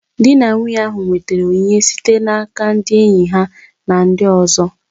Di na nwunye ahụ nwetara onyinye site n'aka ndị enyi ha na ndị ọzọ